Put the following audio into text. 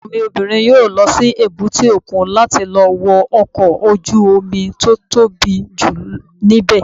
Ọmọ mi obìnrin yóò lọ sí èbúté òkun láti lọ wo ọkọ̀ ojú-omi tó tóbi jù ní bẹ̀